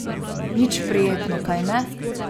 Nič prijetno, kajne?